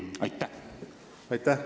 Aitäh!